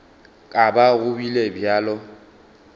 ka ba go bile bjalo